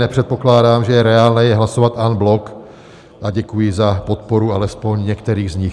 Nepředpokládám, že je reálné je hlasovat en bloc, a děkuji za podporu alespoň některých z nich.